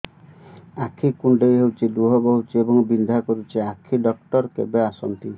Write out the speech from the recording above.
ଆଖି କୁଣ୍ଡେଇ ହେଉଛି ଲୁହ ବହୁଛି ଏବଂ ବିନ୍ଧା କରୁଛି ଆଖି ଡକ୍ଟର କେବେ ଆସନ୍ତି